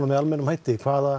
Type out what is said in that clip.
með almennum hætti hvaða